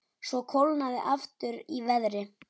Svo kólnaði aftur í veðri.